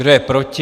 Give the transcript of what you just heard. Kdo je proti?